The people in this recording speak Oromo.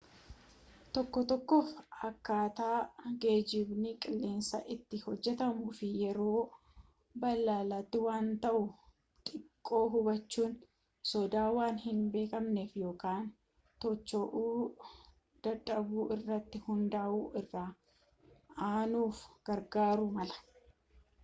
tokko tokkoof akkaataa geejjibni-qilleensaa itti hojjetuu fi yeroo balaliitti waan ta'u xiqqoo hubachuun sodaa waan hin beekamne ykn to'achuu dadhabuu irratti hundaa'u irra aanuuf gargaaruu mala